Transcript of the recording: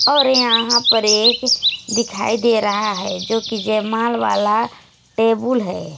और यहां पर एक दिखाई दे रहा है जो कि जय माल वाला टेबुल है।